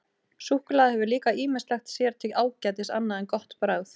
Súkkulaði hefur líka ýmislegt sér til ágætis annað en gott bragð.